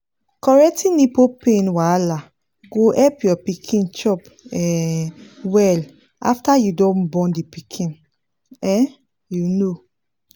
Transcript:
correcting nipple pain wahala go help your pikin chop um well after you don born the pikin um you know